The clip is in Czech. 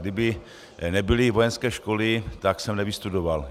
Kdyby nebyly vojenské školy, tak jsem nevystudoval.